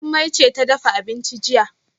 Jummai ce ta dafa abincin jiya